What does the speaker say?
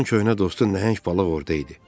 Onun köhnə dostu nəhəng balıq orada idi.